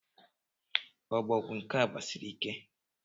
Obogwu nke a gbasiri ike!